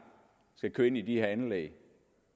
skal køre ind i de her anlæg